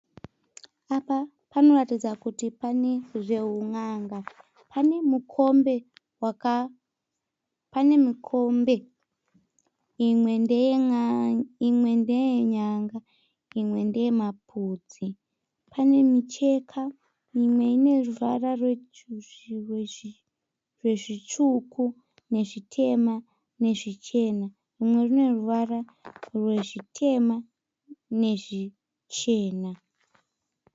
Apa panoratidza kuti pane zveuna'nga, pane mukombe imwe ndeyenyanga imwe ndeyemapudzi. Pane micheka imwe ineruvara rwezvitsvuku nezvitema nezvichena imwe ineruvara rwezvitema nezvichena.